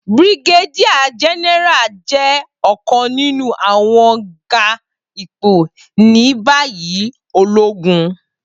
Brigadier General jẹ ọkan ninu awọn ga ipo ni bayi ologun